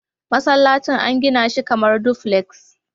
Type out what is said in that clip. Masallacin an gina shi kamar duplex.